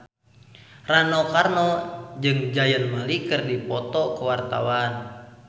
Rano Karno jeung Zayn Malik keur dipoto ku wartawan